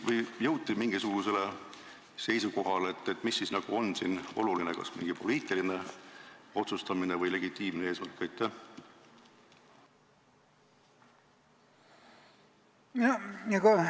Kas jõuti mingisugusele seisukohale, mis siis on siin oluline – kas mingi poliitiline otsustamine või legitiimne eesmärk?